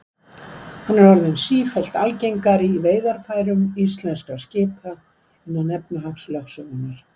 Hann er orðinn sífellt algengari í veiðarfærum íslenskra skipa innan efnahagslögsögunnar.